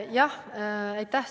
Jah, aitäh!